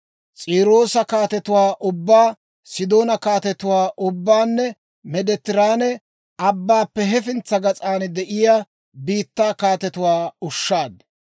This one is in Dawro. S'iiroosa kaatetuwaa ubbaa, Sidoona kaatetuwaa ubbaanne Meediteraane Abbaappe hefintsa gas'an de'iyaa biittaa kaatetuwaakka ushshaad.